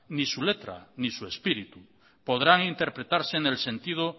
ni su letra ni su espíritu podrán interpretarse en el sentido